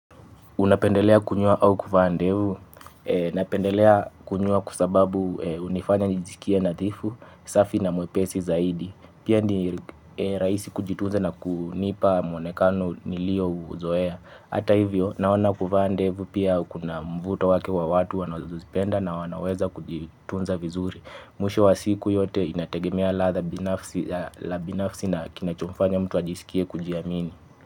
Unapendelea kunyoa au kufaa ndevu, napendelea kunyoa kwa sababu unifanya nijisikia nadhifu, safi na mwepesi zaidi. Pia ni rahisi kujitunza na kunipa mwonekano niliouzoea. Hata hivyo, naona kufaa ndevu pia kuna mvuto wake wa watu wanazozipenda na wanaweza kujitunza vizuri. Mwisho wa siku yote inategemea ladha la binafsi na kinachomfanya mtu ajisikie kujiamini.